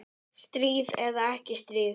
Stríð eða ekki stríð.